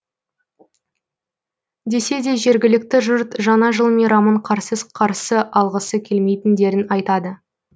десе де жергілікті жұрт жаңа жыл мейрамын қарсыз қарсы алғысы келмейтіндерін айтады